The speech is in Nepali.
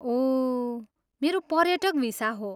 ओह, मेरो पर्यटक भिसा हो।